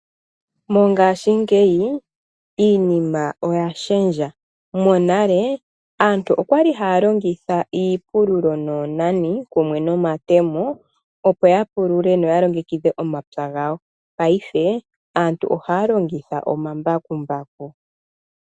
Mongaashingeyi iinima oya shendja. Monale aantu okwali haya longitha iipululo noonani kumwe nomatemo opo ya pulule noya longekidhe omapya gawo. Paife aantu ohaya longitha omambakumbaku.